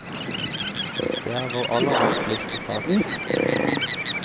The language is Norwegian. Det er vår aller vanskeligste sak.